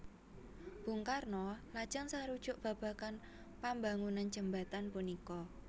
Bung Karno lajeng sarujuk babagan pambangunan Jembatan punika